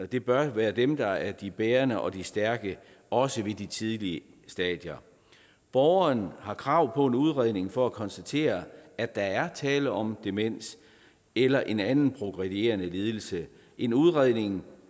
det bør være dem der er de bærende og de stærke også i de tidlige stadier borgeren har krav på en udredning for at konstatere at der er tale om demens eller en anden progredierende lidelse en udredning